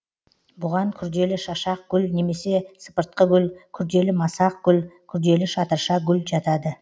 бұған күрделі шашақ гүл немесе сыпыртқы гүл күрделі масақ гүл күрделі шатырша гүл жатады